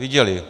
Viděli.